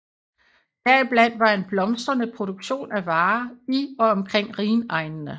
Deriblandt var en blomstrende produktion af varer i og omkring rhinegnene